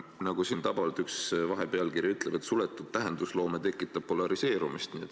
Nagu siin üks vahepealkiri tabavalt ütleb, et suletud tähendusloome tekitab polariseerumist.